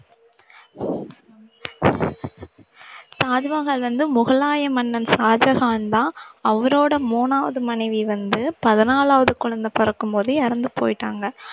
தாஜ்மஹால் வந்து முகலாய மன்னன் ஷாஜஹான்தான் அவரோட மூணாவது மனைவி வந்து பதினாலாவது குழந்தை பிறக்கும்போது இறந்து போயிட்டாங்க